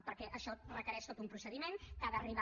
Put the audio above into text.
perquè això requereix tot un procediment que ha d’arribar